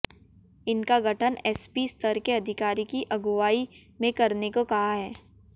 इनका गठन एसपी स्तर के अधिकारी की अगुवाई में करने को कहा है